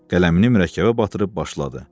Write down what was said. Qələmini mürəkkəbə batırıb başladı: